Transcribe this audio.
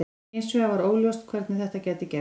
Hins vegar var óljóst hvernig þetta gæti gerst.